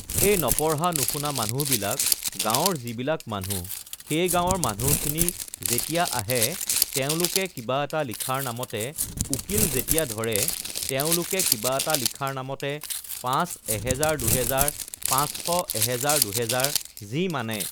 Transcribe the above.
[এই নপঢ়া-নুশুনা মানুহবিলাক গাঁৱৰ যিবিলাক মানুহ সেই গাঁৱৰ মানুহখিনি যেতিয়া আহে তেওঁলোকে কিবা এটা লিখাৰ নামতে উকিল যেতিয়া ধৰে তেওঁলোকে কিবা এটা লিখাৰ নামতে পাঁচ এহেজাৰ দুহেজাৰ পাঁচশ এহেজাৰ দুহেজাৰ যি মানে